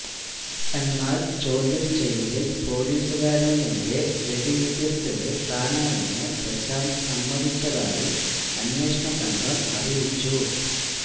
എന്നാൽ ചോദ്യം ചെയ്യലിൽ പോലീസുകാരനു നേരെ വെടിയുതിർത്തത് താനാണെന്ന് പ്രശാന്ത് സമ്മതിച്ചതായും അന്വേഷണ സംഘം അറിയിച്ചു